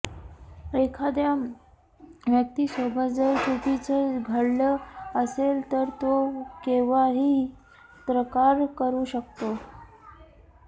एखाद्या व्यक्तीसोबत जर चुकीचं घडलं असेल तर तो केव्हाही तक्रार करू शकतो